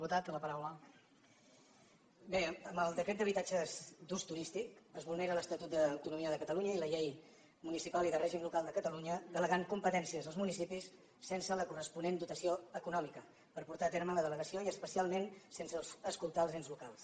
bé en el decret d’habitatges d’ús turístic es vulneren l’estatut d’autonomia de catalunya i la llei municipal i de règim local de catalunya en delegar competències als municipis sense la corresponent dotació econòmica per portar a terme la delegació i especialment sense escoltar els ens locals